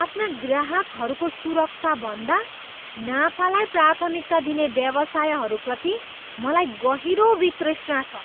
आफ्ना ग्राहकहरूको सुरक्षाभन्दा नाफालाई प्राथमिकता दिने व्यवसायहरूप्रति मलाई गहिरो वितृष्णा छ,